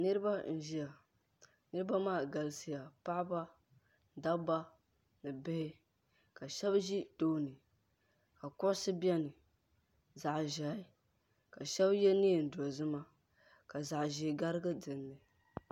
Niriba n-ʒiya niriba maa galisiya paɣiba dabba ni bihi shɛba ʒi tooni ka kuɣusi beni zaɣ'ʒɛhi ka shɛba ye neen'dozima ka zaɣ'ʒee garigi dini.